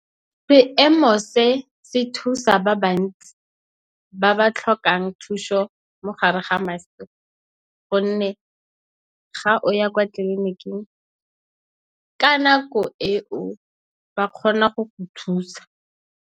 Seemo se se thusa ba bantsi ba ba tlhokang thuso mogare ga gonne ga o ya kwa tleliniking ka nako e o ba kgona go go thusa.